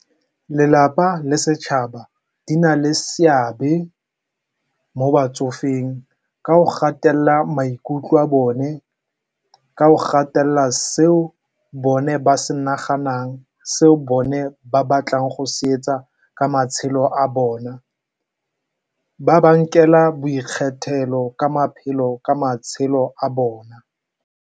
Lelapa le setšhaba di na le seabe mo batsofeng ka go gatelela maikutlo a bone, ka go gatelela seo bone ba se naganang, seo bone ba batlang go se etsa ka matshelo a bona. Ba ba nkela boikgethelo ka matshelo a bona.